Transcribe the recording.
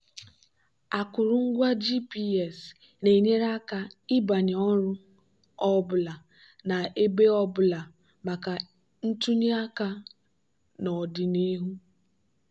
akụrụngwa gps na-enyere aka ịbanye ọrụ ọ bụla na ibé ọ bụla maka ntụnye aka n'ọdịnihu.